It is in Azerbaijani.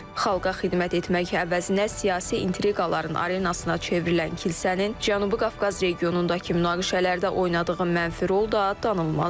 Xalqa xidmət etmək əvəzinə siyasi intriqaların arenasına çevrilən kilsənin Cənubi Qafqaz regionundakı münaqişələrdə oynadığı mənfi rol da danılmazdır.